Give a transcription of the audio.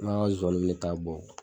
zonzanniw be taa bɔ.